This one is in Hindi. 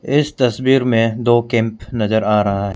इस तस्वीर में दो कैंप नजर आ रहा है।